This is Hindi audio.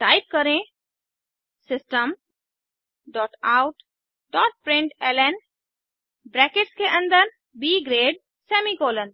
टाइप करें system dot out dot println brackets के अन्दर ब ग्रेड सेमीकोलन